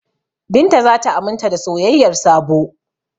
Binta za ta aminta da soyayyar Sabo.